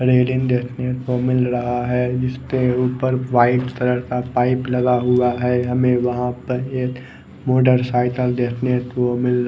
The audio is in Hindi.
रेलिंग देखने को मिल रहा है इसके ऊपर व्हाइट कलर का पाइप लगा हुआ है हमे वह पर एक मोटरसायकल देखने को मिल--